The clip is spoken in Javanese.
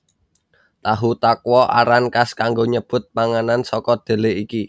Tahu Takwa aran kas kanggo nyebut panganan saka dhelé iki